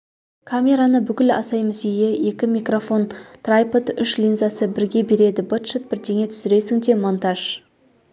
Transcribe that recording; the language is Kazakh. камераны бүкіл асай-мүсейі екі микрофон трайпод үш линзасы бірге береді быт-шыт бірдеңе түсіресің де монтаж